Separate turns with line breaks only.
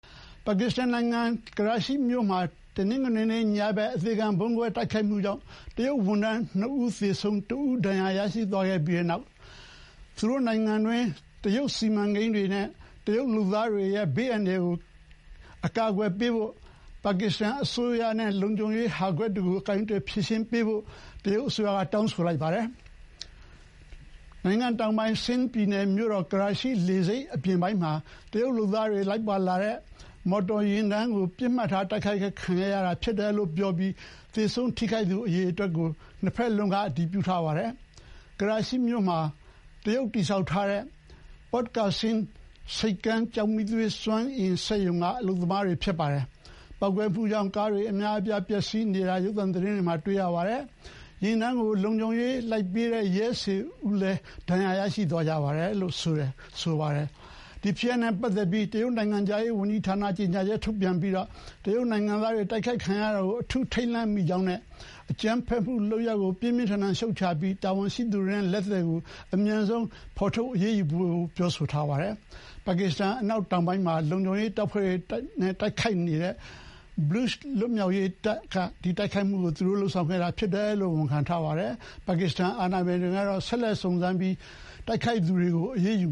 ပါကစ္စတန်နိုင်ငံ ကရာချီမြို့မှာ တနင်္ဂနွေညဘက် အသေခံဗုံးခွဲတိုက်ခိုက်မှုကြောင့် တရုတ်ဝန်ထမ်း ၂ ဦး သေဆုံး၊ နောက်တဦးဒဏ်ရာရသွားခဲ့ရပြီးတဲ့နောက် နိုင်ငံတွင်း တရုတ်စီမံကိန်းတွေနဲ့ တရုတ်လုပ်သား တွေရဲ့ ဘေးအန္တရာယ်ကင်းရှင်းရေးအတွက် ပါကစ္စတန်အစိုးရအနေနဲ့ လုံခြုံရေးဟာကွက်တွေကို ကိုင်တွယ်ဖြေရှင်းဖို့ တရုတ်က အောက်တိုဘာလ ၇ ရက်၊ တနင်္လာနေ့က တောင်းဆိုသွားပါတယ်။ တောင်ပိုင်း ဆင်းဒ်ပြည်နယ်မြို့တော် ကရာချီလေဆိပ်အပြင်ပိုင်းမှာ တရုတ်လုပ်သားတွေလိုက်လာတဲ့ မော်တော်ယာဉ်တန်း ပစ်မှတ်ထားတိုက်ခိုက်ခံရတယ်လို့ပြောပြီး သေဆုံးထိခိုက်သူအရေအတွက်ကို ၂ ဘက်လုံးက အတည်ပြုသွားပါတယ်။ တိုက်ခိုက်ခံရတဲ့တရုတ်လုပ်သားတွေဟာ ကရာချီမြို့မှာ တရုတ်တည်ဆောက်ထားတဲ့ Port Qasim (ကာဆင်မ်) ဆိပ်ကမ်း ကျောက်မီးသွေးသုံး စွမ်းအင်စက်ရုံကလုပ်သားတွေ ဖြစ်ပါတယ်။ ပေါက်ကွဲမှုကြောင့် ကားအများအပြားဟာ တစီးလုံး ဒါမှတဟုတ် တစိတ်တပိုင်း ပျက်ဆီးနေတာ ရုပ်သံသတင်းတွေမှာ တွေ့ရပါတယ်။ ယာဉ်တန်းကို လုံခြုံရေးလိုက်ပေးတဲ့ ရဲ ၁၀ ဦးထက်မကလည်း ဒဏ်ရာရသွားတယ်လို့ ပြောပါတယ်။ ဒီဖြစ်ရပ်နဲ့ပတ်သတ်ပြီး တရုတ်နိုင်ငံခြားရေးဌာနက ကြေညာချက်ထုတ်ပြန်ပြီး တရုတ်နိုင်ငံသားတွေ တိုက်ခိုက်ခံရတာကို အထူးထိတ်လန့်မိကြောင်းနဲ့ အကြမ်းဖက်မှုလုပ်ရပ်ကို ပြင်းပြင်းထန်ထန် ရှုတ်ချပါကြောင်း၊ တာဝန်ရှိသူတွေအနေနဲ့ လက်သည်ကို အမြန်ဆုံးဖော်ထုတ် အရေးယူပေးဖို့ သူတို့အင်တာနက်စာမျက်နှာမှာ ပြောထားပါတယ်။ ပါကစ္စတန် အနောက်တောင်ပိုင်းမှာ လုံခြုံရေးတပ်တွေနဲ့ တိုက်နေတဲ့ ဘလို့ချ်လွတ်မြောက်ရေးတပ်က ဒီတိုက်ခိုက်မှုကိုလုပ်ဆောင်တယ်လို့ ဝန်ခံပါတယ်။ ပါကစ္စတန်အာဏာပိုင်တွေကတော့ ဆက်လက် စုံစမ်းနေကြောင်းပြောပြီး တိုက်ခိုက်သူတွေ အရေးယူ